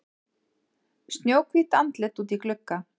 Snjóhvítt andlit úti í glugga.